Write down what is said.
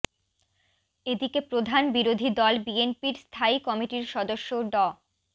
এদিকে প্রধান বিরোধী দল বিএনপির স্থায়ী কমিটির সদস্য ড